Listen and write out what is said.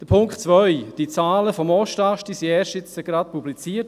Zu Punkt 2: Die Zahlen des Ostasts wurden erst gerade jetzt publiziert.